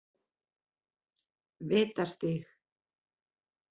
Vitastíg